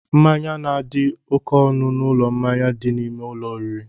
Mmanya na-adị oké ọnụ n'ụlọ mmanya dị n'ime ụlọ oriri